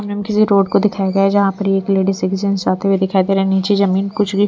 किसी रोड को दिखाया गया है जहाँ पर एक लेडी जाते हुए दिखाई दे रहे हैं नीचे जमीन कुछ भी--